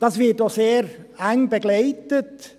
Dies wird auch sehr eng begleitet;